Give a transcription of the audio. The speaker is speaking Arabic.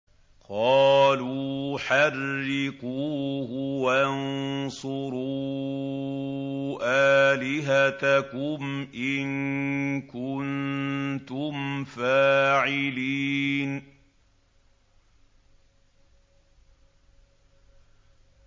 قَالُوا حَرِّقُوهُ وَانصُرُوا آلِهَتَكُمْ إِن كُنتُمْ فَاعِلِينَ